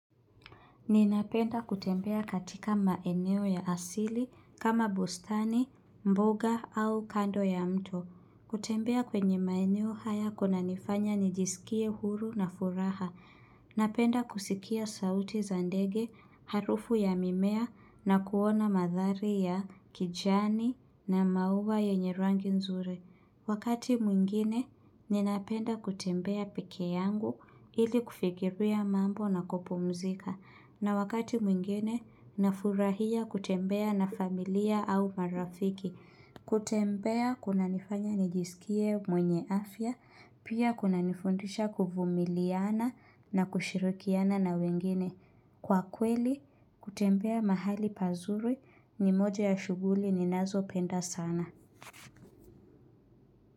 Ninapenda kutembea katika maeneo ya asili kama bustani, mboga au kando ya mto. Kutembea kwenye maeneo haya kunanifanya nijisikie huru na furaha. Napenda kusikia sauti za ndege, harufu ya mimea na kuona mandhari ya kijani na maua yenye rangi nzuri. Wakati mwingine, ninapenda kutembea peke yangu ili kufikiria mambo na kupumzika. Na wakati mwingine nafurahia kutembea na familia au marafiki. Kutembea kunanifanya nijisikie mwenye afya, pia kunanifundisha kuvumiliana na kushirikiana na wengine. Kwa kweli, kutembea mahali pazuri ni moja ya shughuli ninazopenda sana.